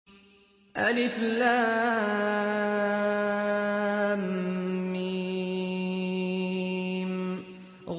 الم